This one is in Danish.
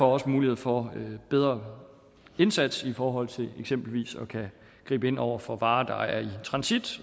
også mulighed for en bedre indsats i forhold til eksempelvis at kunne gribe ind over for varer der er i transit